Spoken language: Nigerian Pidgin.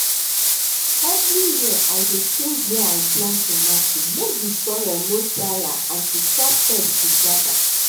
every year i dey change where i plant tomato make the soil no tire and to stop pest to gather